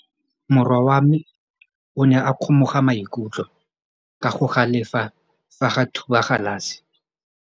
Morwa wa me o ne a kgomoga maikutlo ka go galefa fa a thuba galase.